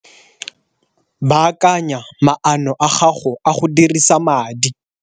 Baakanya maano a gago a go dirisa madi.